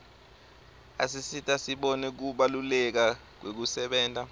asisita sibone kubaluleka kwekusebenta